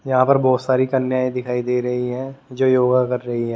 यहां पर बहुत सारी कन्याएं दिखाई दे रही हैं जो योगा कर रही है ।